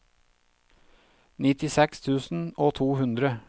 nittiseks tusen og to hundre